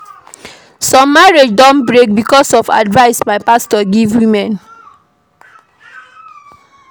Some marriage don break because of advice wey pastor give woman.